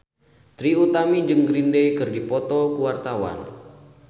Trie Utami jeung Green Day keur dipoto ku wartawan